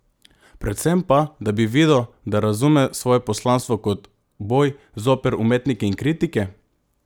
Predvsem pa, da bi videl, da razume svoje poslanstvo kot boj zoper umetnike in kritike?